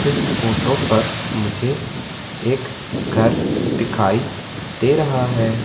इस फोटो पर मुझे एक घर दिखाई दे रहा है।